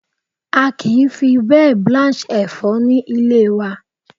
A kì í fi bẹ́ẹ̀ blanch Ẹ̀fọ́ ní ilé wa.